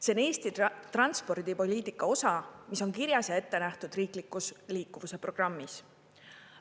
See on Eesti transpordipoliitika osa, mis on kirjas ja ettenähtud riiklikus liikuvuse programmis.